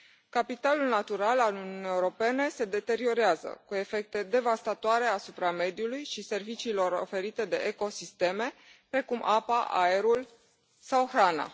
Capitalul natural al Uniunii Europene se deteriorează, cu efecte devastatoare asupra mediului și serviciilor oferite de ecosisteme, precum apa, aerul sau hrana.